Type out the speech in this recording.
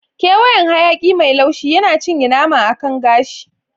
Ƙewayen hayaƙi mai laushi yana cinye nama akan gashi.